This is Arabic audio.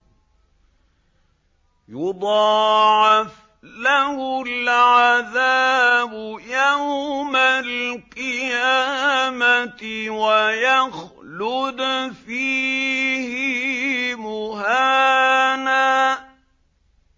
يُضَاعَفْ لَهُ الْعَذَابُ يَوْمَ الْقِيَامَةِ وَيَخْلُدْ فِيهِ مُهَانًا